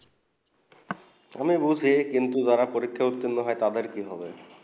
আমি বুঝি কিন্তু যারা পরীক্ষা উট্রিনো হয়ে তাদের কি হবে